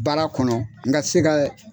Baara kɔnɔ n ka se ka